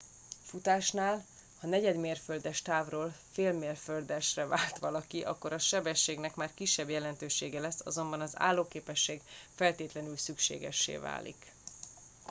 futásnál ha negyedmérföldes távról félmérföldesre vált valaki akkor a sebességnek már kisebb jelentősége lesz azonban az állóképesség feltétlenül szükségessé válik